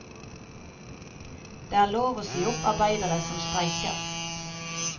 Det er lov å si opp arbeidere som streiker.